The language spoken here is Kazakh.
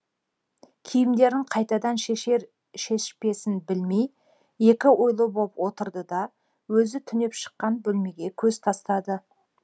киімдерін қайтадан шешер шешпесін білмей екі ойлы боп отырды да өзі түнеп шыққан бөлмеге көз тастады